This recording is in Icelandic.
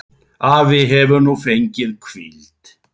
Afi hefur nú fengið hvíld.